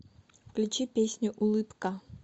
включи песню улыбка